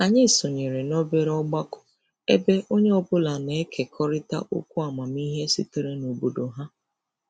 Anyị sonyere n'obere ọgbakọ ebe onye ọbụla na-ekekọrịta okwu amamihe sitere n'obodo ha.